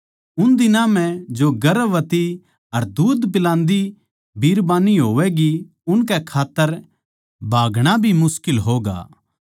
उन दिनां म्ह जो गर्भवती अर दूध पिलान्दी बिरबान्नी होवैगीं उनकै खात्तर भागणा भी मुश्किल होगा